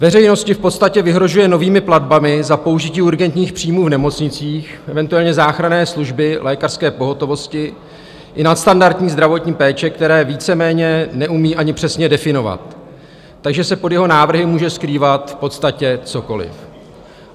Veřejnosti v podstatě vyhrožuje novými platbami za použití urgentních příjmů v nemocnicích, eventuálně záchranné služby lékařské pohotovosti i nadstandardní zdravotní péče, které víceméně neumí ani přesně definovat, takže se pod jeho návrhy může skrývat v podstatě cokoli.